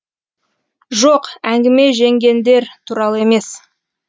жоқ әңгіме жеңгендер туралы емес